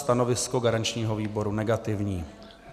Stanovisko garančního výboru negativní.